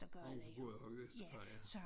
Mor hun boede også i Vestergade ja